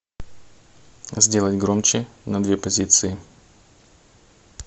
сделай громче на две позиции